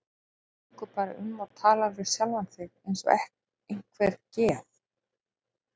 Þú gengur bara um og talar við sjálfa þig eins og einhver geð